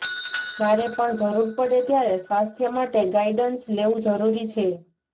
જયારે પણ જરૂર પડે ત્યારે સ્વાથ્ય માટે ગાઈડન્સ લેવું જરૂરી છે